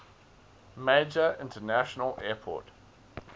major international airport